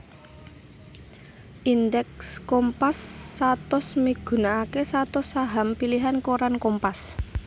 Indèks Kompas satus migunakaké satus saham pilihan koran Kompas